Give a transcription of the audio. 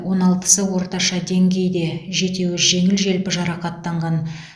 он алпысы орташа деңгейде жетеуі жеңіл желпі жарақаттанған